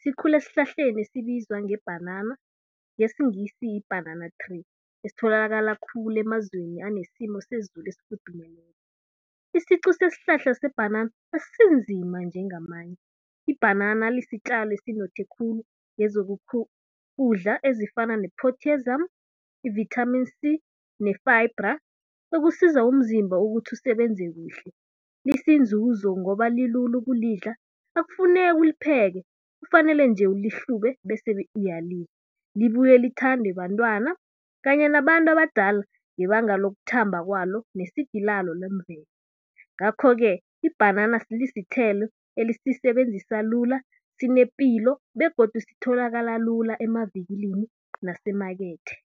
Sikhula esihlahleni esibizwa ngebhanana, ngesiNgisi yi-banana tree, esitholakala khulu emazweni anesimo sezulu esfudumeleko. Isiqu sesihlahla sebhanana asinzima njengamanye. Ibhanana lisitjalo esinothe khulu kezokudla ezifana ne-potassium, i-vitamin C ne-fibre okusiza umzimba ukuthi usebenze kuhle. Lisinzunzo ngoba lilula ukulidla, akufuneki ulipheke kufanele nje ulihlube bese uyalidla. Libuye lithandwe bantwana kanye nabantu abadala ngebanga lokuthamba kwalo nesidi lalo lemvelo. Ngakho-ke ibhanana lisithelo elisisebenzisa lula, sinepilo begodu sitholakala lula emavikilini nasemakethe.